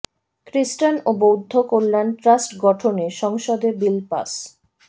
খ্রিস্টান ও বৌদ্ধ কল্যাণ ট্রাস্ট গঠনে সংসদে বিল পাস